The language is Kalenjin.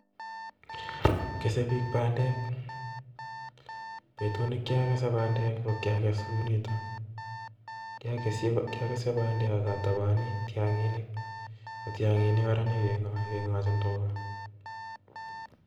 Kese biik bandek, betut nekiokese bandek ko kiakese kounitok, kiakese bandek ak ataboni tong'inik neking'ochin tuga